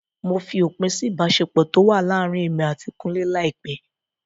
Mo fi òpin sí ìbáṣepọ̀ tó wà láàrin èmi àti kúnlé láìpẹ́.